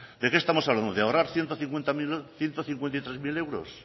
de qué estamos hablando de ahorrar ciento cincuenta y tres mil euros